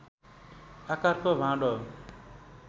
आकारको भाँडो